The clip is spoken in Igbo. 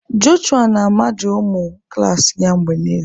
Jọshụa na-amaja ụmụ klas ya mgbe niile.